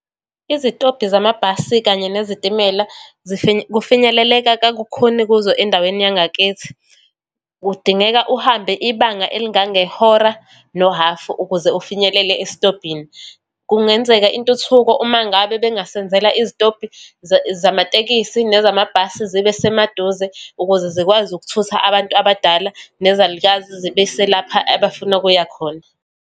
Izitobhi zamabhasi, kanye nezitimela kufinyeleleka kakukhuni kuzo endaweni yangakithi. Kudingeka uhambe ibanga elingangehora nohafu ukuze ufinyelele esitobhini. Kungenzeka intuthuko uma ngabe bengasenzela izitobhi zamatekisi nezamabhasi zibe semaduze, ukuze zikwazi ukuthutha abantu abadala nezalukazi, zibese lapha abafuna ukuya khona.